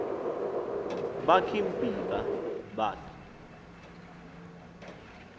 babik imbiba babik